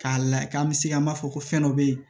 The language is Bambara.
K'a layɛ k'an bɛ se ka m'a fɔ ko fɛn dɔ bɛ yen